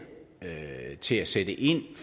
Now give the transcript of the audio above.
til at sætte ind